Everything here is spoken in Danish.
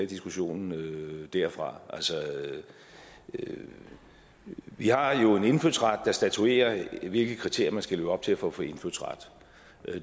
diskussionen derfra vi har jo en indfødsret der statuerer hvilke kriterier man skal leve op til for at få indfødsret